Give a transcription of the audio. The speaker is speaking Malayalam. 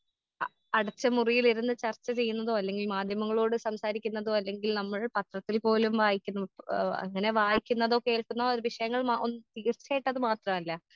ആ അടച്ച മുറിയിലിരുന്ന് ചർച്ച ചെയ്യുന്നതോ അല്ലെങ്കിൽ മാധ്യമങ്ങളോട് സംസാരിക്കുന്നതോ അല്ലെങ്കിൽ നമ്മൾ പത്രത്തിൽ പോലും വായിക്കുന്നു ആ അങ്ങനെ വായിക്കുന്നതോ കേൾക്കുന്ന ഓരോ വിഷയങ്ങൾ മാ ഒന്നും തീർച്ചായിട്ടും അത് മാത്രല്ല.